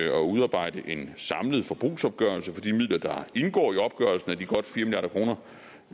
at udarbejde en samlet forbrugsopgørelse for de midler der indgår i opgørelsen af de godt fire